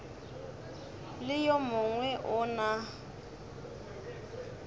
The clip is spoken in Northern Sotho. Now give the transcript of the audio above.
le yo mongwe o na